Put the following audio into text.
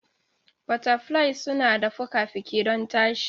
Butterflies suna da fuka-fuki don tashi.